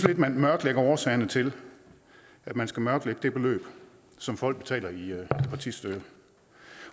at man mørklægger årsagerne til at man skal mørklægge det beløb som folk betaler i partistøtte